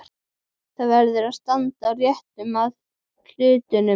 Það verður að standa rétt að hlutunum.